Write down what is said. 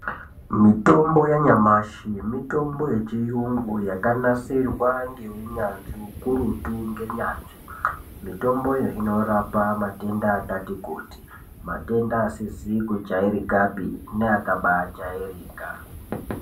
Mitombo yanyamashi mitombo yechiyungu yakanasirwa ngeunyanzvi ukurutu ngenyanzvi. Mitomboyo inorapa matenda akati kuti, matenda asizi kujairikapi neakabaajairika.